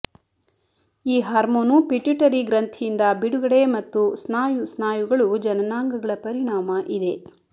ಈ hormone pituitary ಗ್ರಂಥಿಯಿಂದ ಬಿಡುಗಡೆ ಮತ್ತು ಸ್ನಾಯು ಸ್ನಾಯುಗಳು ಜನನಾಂಗಗಳ ಪರಿಣಾಮ ಇದೆ